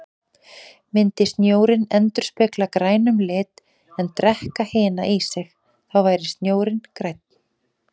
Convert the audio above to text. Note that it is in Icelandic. Myndi snjórinn endurspegla grænum lit en drekka hina í sig, þá væri snjórinn grænn.